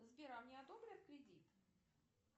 сбер а мне одобрят кредит